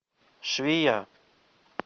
швея